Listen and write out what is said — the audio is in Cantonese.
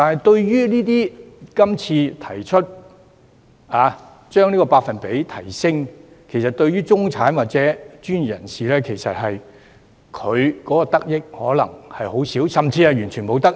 然而，今次提升百分比，中產或專業人士的得益可能卻只有很少，甚至完全沒有得益。